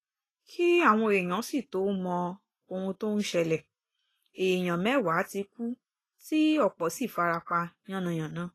kí àwọn èèyàn sì tóó mọ ohun tó ń ṣẹlẹ̀ èèyàn mẹ́wàá ti kú tí ọ̀pọ̀ sì fara pa yánnayànna